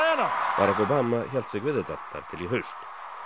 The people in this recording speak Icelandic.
Barack Obama hélt sig við þetta þar til í haust